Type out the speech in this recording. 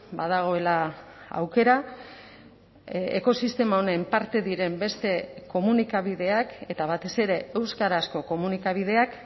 badagoela aukera ekosistema honen parte diren beste komunikabideak eta batez ere euskarazko komunikabideak